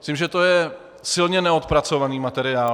Myslím, že to je silně neodpracovaný materiál.